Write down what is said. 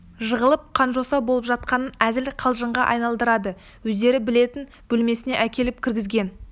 жығылып қанжоса боп жатқанын әзіл қалжыңға айналдырады өздері білетін бөлмесіне әкеліп кіргізген